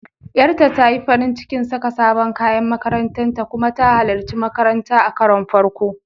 Ƴata ta yi farin cikin saka sabon kayan makarantar ta kuma ta halarci makaranta a karon farko.